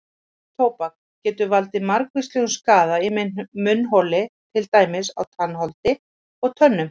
Munntóbak getur valdið margvíslegum skaða í munnholi til dæmis á tannholdi og tönnum.